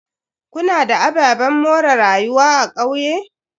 Kuna da ababen more rayuwa a kauye?